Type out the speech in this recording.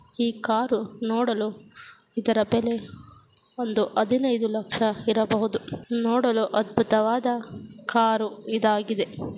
ಈ ಕಾರು ನೋಡಲು ಇದರ ಬೆಲೆ ಒಂದು ಹದಿನೈದು ಲಕ್ಷ ಇರಬಹುದು ನೋಡಲು ಅದ್ಬುತವಾದ ಕಾರು ಇದಾಗಿ .